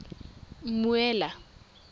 mmuela